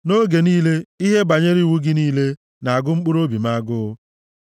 Nʼoge niile, ihe banyere iwu gị niile na-agụ mkpụrụobi m agụụ.